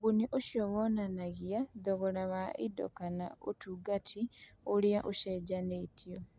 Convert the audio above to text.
Ũguni ũcio wonanagia thogora wa indo kana ũtungata ũrĩa ũcenjanĩtio.